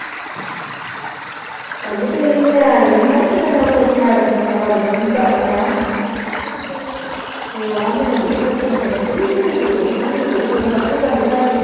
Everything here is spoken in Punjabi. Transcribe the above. ਤੇ ਉਹ ਮੈਨੂੰ ਇਕ ਦਿਨ ਕਹਿੰਦੀ ਬਥੇਰੀਆਂ ਮੈਨੂੰ ਪਤਾ ਜਿਦਾਂ ਦੀ ਹੈਗੀ।